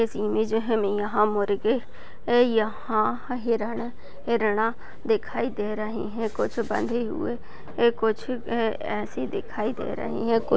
इस इमेज यहाँ मुर्गे ए यहाँ हिरन हिरणा दिखाई दे रहे है कुछ बंधे हुए ए-- कुछ ए-- ऐसे दिखाई दे रहे है कुछ --